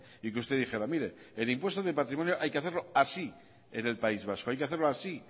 y que usted dijera mire el impuesto de patrimonio hay que hacerlo así en el país vasco hay que hacerlo así